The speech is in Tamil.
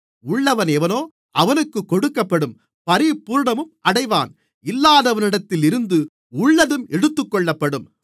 உள்ளவனெவனோ அவனுக்குக் கொடுக்கப்படும் பரிபூரணமும் அடைவான் இல்லாதவனிடத்திலிருந்து உள்ளதும் எடுத்துக்கொள்ளப்படும்